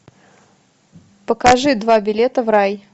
покажи два билета в рай